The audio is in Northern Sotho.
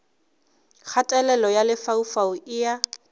kgatelelo ya lefaufau e a